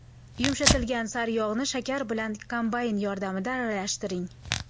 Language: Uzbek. Yumshatilgan sariyog‘ni shakar bilan kombayn yordamida aralashtiring.